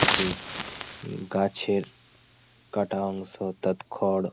কিছু উম গাছের কাটা অংশ তাত খড় --